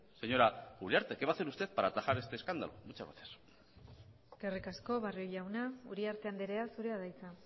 señora uriarte qué va a hacer usted para atajar este escándalo muchas gracias eskerrik asko barrio jauna uriarte andrea zurea da hitza